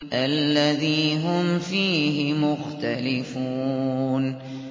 الَّذِي هُمْ فِيهِ مُخْتَلِفُونَ